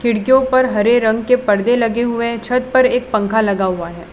खिड़कियों पर हरे रंग के परदे लगे हुए हैं छत पर एक पंखा लगा हुआ है।